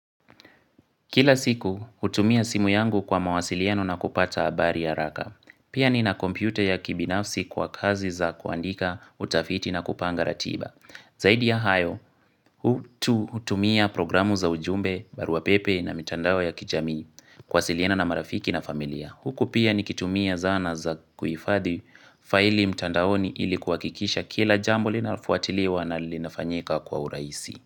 Kila siku, hutumia simu yangu kwa mawasiliano na kupata habari haraka. Pia nina kompyuta ya kibinafsi kwa kazi za kuandika, utafiti na kupanga ratiba. Zaidi ya hayo, hutumia programu za ujumbe, barua pepe na mitandao ya kijamii. Kuwasiliana na marafiki na familia. Huku pia nikitumia zana za kuhifadhi faili mtandaoni ilikuwa kuhakikisha kila jambo linafuatiliwa na linafanyika kwa urahisi.